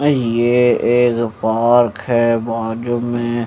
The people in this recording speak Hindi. ये एक पार्क है बाजू में--